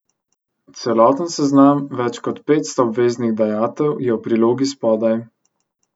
Celoten seznam več kot petsto obveznih dajatev je v prilogi spodaj.